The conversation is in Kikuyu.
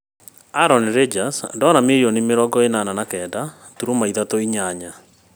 Aaron Rodgers ndora mirioni mĩrongo ĩnana na kenda turuma ithatũ inyanya